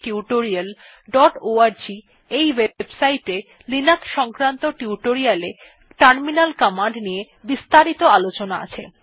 httpspoken tutorialorg এর Linux সংক্রান্ত tutorial এ টার্মিনাল কমান্ড নিয়ে বিস্তারিত আলোচনা আছে